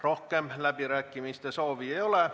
Rohkem läbirääkimiste soovi ei ole.